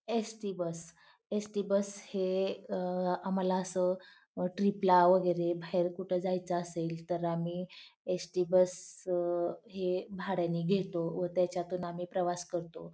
ST. Bus ST. Bus हे अ आम्हाला असं ट्रीप ला वैगेरे बाहेर कुठे जायच असेल तर आम्ही एस.टी. बस हे भाड्याने घेतो व त्याच्यातून आम्ही प्रवास करतो.